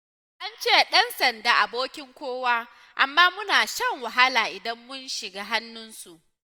An ce ɗan sanda abokin kowa, amma muna shan wahala idan mun shiga hannunsu